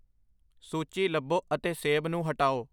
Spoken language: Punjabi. ਸੂਚੀ ਲੱਭੋ ਅਤੇ ਸੇਬ ਨੂੰ ਹਟਾਓ